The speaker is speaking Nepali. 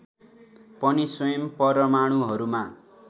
पनि स्वयं परमाणुहरूमा